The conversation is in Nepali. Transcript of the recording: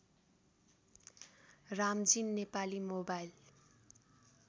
रामजी नेपाली मोबाइल